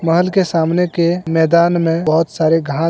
महल के सामने के मैदान में बहोत सारे घास हैं।